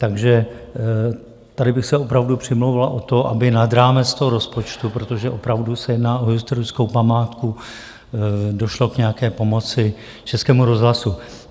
Takže tady bych se opravdu přimlouval o to, aby nad rámec toho rozpočtu, protože opravdu se jedná o historickou památku, došlo k nějaké pomoci Českému rozhlasu.